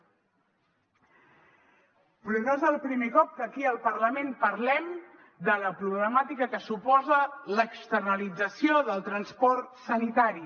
però no és el primer cop que aquí al parlament parlem de la problemàtica que suposa l’externalització del transport sanitari